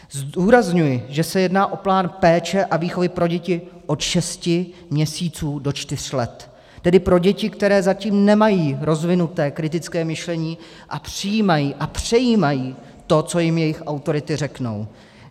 Zdůrazňuji, že se jedná o plán péče a výchovy pro děti od šesti měsíců do čtyř let, tedy pro děti, které zatím nemají rozvinuté kritické myšlení a přijímají a přejímají to, co jim jejich autority řeknou.